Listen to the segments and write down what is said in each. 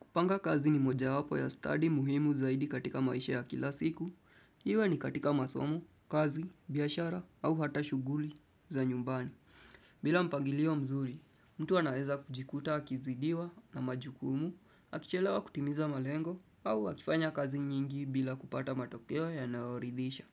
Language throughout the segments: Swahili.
Kupanga kazi ni mojawapo ya stadi muhimu zaidi katika maisha ya kila siku. Iwe ni katika masom, kazi, biashara au hata shughuli za nyumbani. Bila mpangilio mzuri, mtu anaeza kujikuta, akizidiwa na majukumu, akichelewa kutimiza malengo au akifanya kazi nyingi bila kupata matokeo yanayoridisha.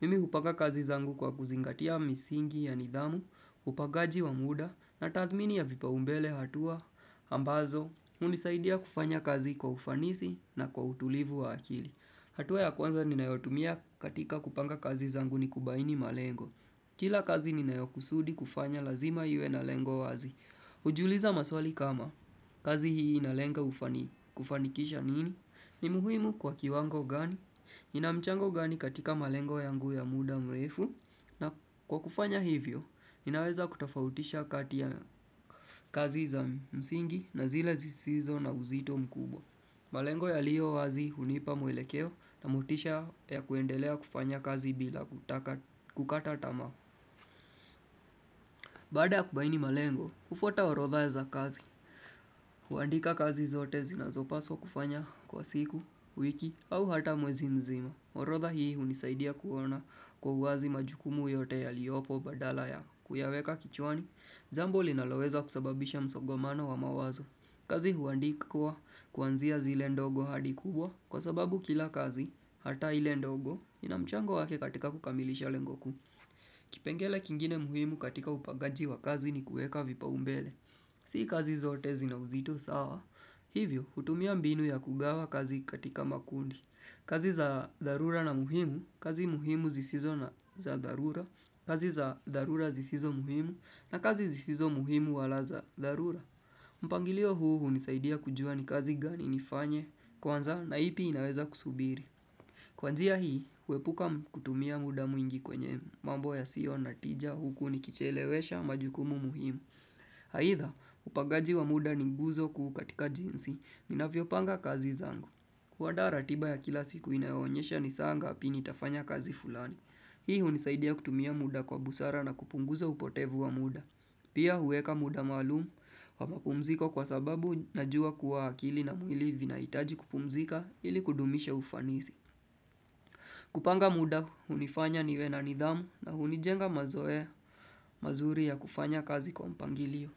Mimi hupanga kazi zangu kwa kuzingatia misingi ya nidhamu, upagaji wa muda na tathmini ya vipaumbele hatua ambazo. Ambazo, unisaidia kufanya kazi kwa ufanisi na kwa utulivu wa akili. Hatua ya kwanza ninayotumia katika kupanga kazi zangu ni kubaini malengo. Kila kazi ninayokusudi kufanya lazima iwe na lengo wazi. Kujiuliza maswali kama kazi hii inalenga kufanikisha nini? Ni muhimu kwa kiwango gani? Ina mchango gani katika malengo yangu ya muda mrefu? Na kwa kufanya hivyo, ninaweza kutafautisha kati ya kazi za msingi na zile zisizo na uzito mkubwa. Malengo yaliyo wazi hunipa mwelekeo na motisha ya kuendelea kufanya kazi bila kukata tamaa. Baada ya kubaini malengo, ufuata orodha za kazi. Huandika kazi zote zinazopaswa kufanya kwa siku, wiki au hata mwezi mzima. Orodha hii hunisaidia kuona kwa uwazi majukumu yote yaliopo badala ya kuyaweka kichwani, jambo linaloweza kusababisha msogomano wa mawazo. Kazi huandikwa kuanzia zile ndogo hadi kubwa kwa sababu kila kazi hata ile ndogo ina mchango wake katika kukamilisha lengo kuu. Kipengele kingine muhimu katika upagaji wa kazi ni kueka vipaumbele. Si kazi zote zina uzito sawa. Hivyo, hutumia mbinu ya kugawa kazi katika makundi. Kazi za dharura na muhimu, kazi muhimu zisizo na za dharura, kazi za dharura zisizo muhimu, na kazi zisizo muhimu wala za dharura. Mpangilio huu hunisaidia kujua ni kazi gani nifanye kwanza na ipi inaweza kusubiri. Kwa njia hii, huepuka kutumia muda mwingi kwenye mambo yasiyo na tija huku nikichelewesha majukumu muhimu. Aitha, upagaji wa muda ni guzo kuu katika jinsi, ninavyopanga kazi zangu. Kuadaa ratiba ya kila siku inayoonyesha ni saa ngapi nitafanya kazi fulani. Hii hunisaidia kutumia muda kwa busara na kupunguza upotevu wa muda. Pia huweka muda maalum wa mapumziko kwa sababu najua kuwa akili na mwili vinahitaji kupumzika ili kudumishe ufanisi. Kupanga muda, hunifanya niwe na nidhamu na hunijenga mazoea mazuri ya kufanya kazi kwa mpangilio.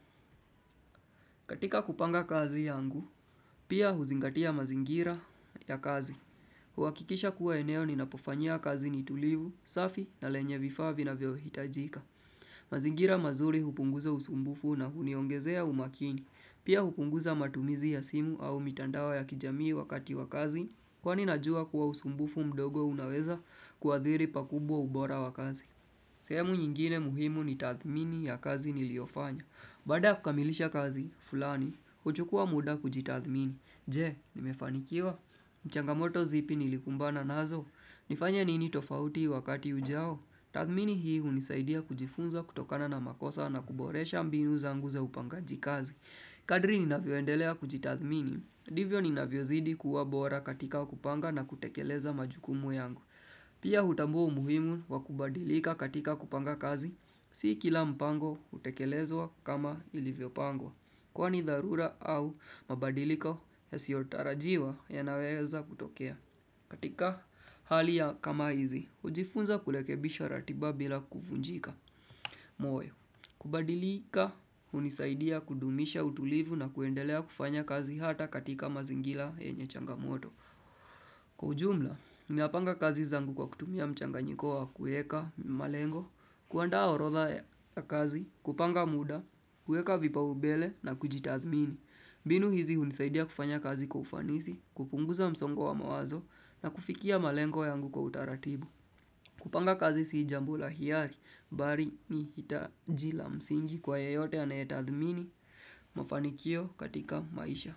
Katika kupanga kazi yangu, pia huzingatia mazingira ya kazi. Huakikisha kuwa eneo ninapofanyia kazi ni tulivu, safi na lenye vifaa vinavyohitajika. Mazingira mazuri hupunguza usumbufu na huniongezea umakini. Pia hupunguza matumizi ya simu au mitandao ya kijamii wakati wa kazi. Kwani najua kuwa usumbufu mdogo unaweza kuathiri pakubwa ubora wa kazi. Sehemu nyingine muhimu ni tathmini ya kazi niliofanya. Baada ya kukamilisha kazi, fulani, huchukua muda kujitathmini. Je, nimefanikiwa. Ni changamoto zipi nilikumbana nazo. Nifanya nini tofauti wakati ujao. Tathmini hii hunisaidia kujifunza kutokana na makosa na kuboresha mbinu zangu za upangaji kazi. Kadri ninavyoendelea kujitathmini. Divyo ninavyozidi kuwa bora katika kupanga na kutekeleza majukumu yangu. Pia hutambua umuhimu wa kubadilika katika kupanga kazi. Si kila mpango hutekelezwa kama ilivyopangwa. Kwani dharura au mabadiliko yasiotarajiwa yanaweza kutokea. Katika hali ya kama hizi, hujifunza kulekebisha ratiba bila kuvunjika moyo. Kubadilika, hunisaidia kudumisha utulivu na kuendelea kufanya kazi hata katika mazingila yenye changamoto. Kwa ujumla, ninapanga kazi zangu kwa kutumia mchanganyiko wa kueka malengo, kuandaa orotha ya kazi, kupanga muda, kueka vipaubele na kujitathmini. Binu hizi hunisaidia kufanya kazi kwa ufanisi, kupunguza msongo wa mawazo na kufikia malengo yangu kwa utaratibu. Kupanga kazi si jambo la hiari, bari ni hitaji la msingi kwa yeyote anayetathmini, mafanikio katika maisha.